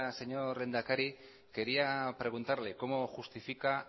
señor lehendakari quería preguntarle cómo justifica